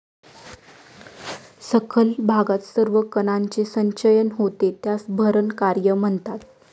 सखल भागात सर्व कणांचे संचयन होते त्यास भरण कार्य म्हणतात.